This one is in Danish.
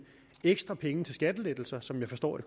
ekstra penge til skattelettelser som jeg forstår at